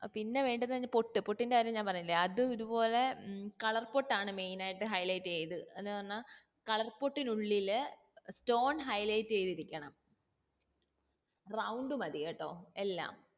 പിന്നെ വേണ്ടുന്നത് പൊട്ട് പൊട്ടിന്റെ കാര്യം ഞാൻ പറഞ്ഞില്ലേ അത് ഇതുപോലെ colour പൊട്ട് ആണ്ആ main ആയിട്ട് highlight ചെയ്ത് അത് പറഞ്ഞാ colour പൊട്ടിനു ഉള്ളില്ചെ stone highlight യ്‌തിരിക്കണം round മതി കേട്ടോ എല്ലാം